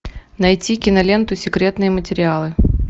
найти киноленту секретные материалы